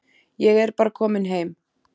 Ég er bara kominn heim.